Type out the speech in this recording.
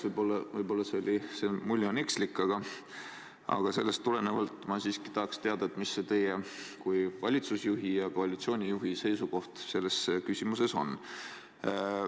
Võib-olla on see mulje ekslik, aga sellest tulenevalt ma siiski tahaks teada, mis see teie kui valitsuse ja koalitsiooni juhi seisukoht selles küsimuses on.